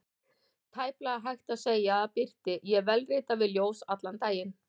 Tæplega hægt að segja að birti: ég vélrita við ljós allan daginn.